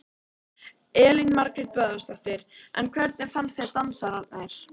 Elín Margrét Böðvarsdóttir: En hvernig fannst þér dansararnir?